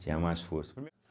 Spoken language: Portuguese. Tinha mais força.